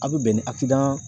A bɛ bɛn ni